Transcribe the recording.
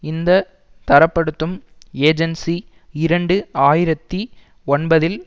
இந்த தரப்படுத்தும் ஏஜன்சி இரண்டு ஆயிரத்தி ஒன்பதில்